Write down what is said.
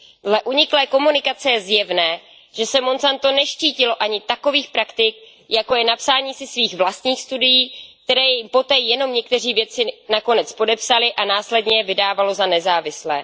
Dle uniklé komunikace je zjevné, že se Monsanto neštítilo ani takových praktik, jako je napsání si svých vlastních studií, které jim poté jenom někteří vědci nakonec podepsali, a následně je vydávalo za nezávislé.